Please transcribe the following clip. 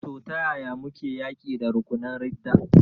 To, ta yaya muke yaƙi da rukunan ridda?